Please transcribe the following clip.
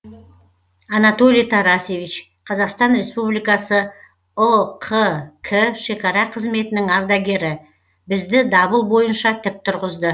анатолий тарасевич қазақстан республикасы ұқк шекара қызметінің ардагері бізді дабыл бойынша тік тұрғызды